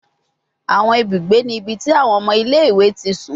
Awọn ibugbe ni ibi ti awọn ọmọ ile-iwe ti sun